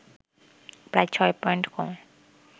প্রায় ৬ পয়েন্ট কমে